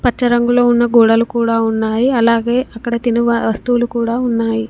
పచ్చ రంగులో ఉన్న గోడలు కూడా ఉన్నాయి అలాగే ఇక్కడ తిను వ-వస్తువులు కూడా ఉన్నాయి.